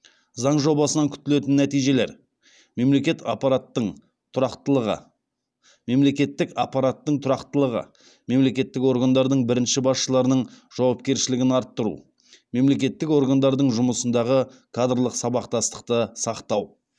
заң жобасынан күтілетін нәтижелер мемлекеттік аппараттың тұрақтылығы мемлекеттік органдардың бірінші басшыларының жауапкершілігін арттыру мемлекеттік органдардың жұмысындағы кадрлық сабақтастықты сақтау